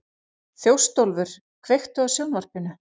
Þjóstólfur, kveiktu á sjónvarpinu.